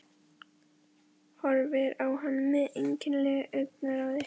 Horfir á hann með einkennilegu augnaráði.